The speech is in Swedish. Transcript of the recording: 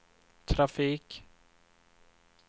trafik